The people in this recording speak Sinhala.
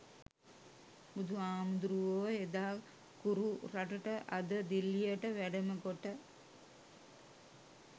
බුදුහාමුදුරුවෝ එදා කුරු රටට අද දිල්ලියට වැඩම කොට